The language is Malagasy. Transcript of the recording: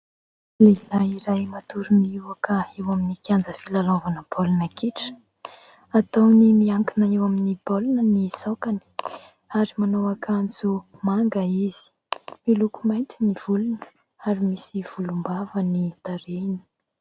Lehilahy iray matory miohoka eo amin'ny kianja filalaovana baolina kitra. Ataony miankina eo amin'ny baolina ny saokany ary manao akanjo manga izy, miloko mainty ny volony ary misy volombava ny tarehiny.